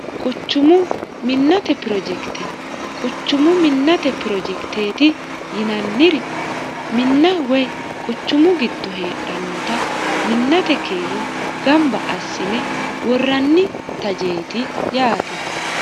quchumu minnate pirojekite quchumu minnate pirojekiteeti yinanniri minna woy quchumu gitto heedhannota minnate kiiro gamba assine worranni tajeeti yaate